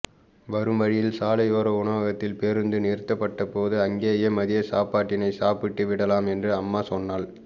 வரும் வழியில் சாலையோர உணவகத்தில் பேருந்து நிறுத்தப்பட்ட போது அங்கேயே மதியசாப்பாட்டினை சாப்பிட்டு விடலாம் என்று அம்மா சொன்னாள்